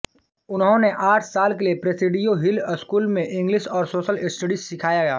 उन्होंने आठ साल के लिए प्रेसिडियो हिल स्कूल में इंग्लिश और सोशल स्टडीज सिखाया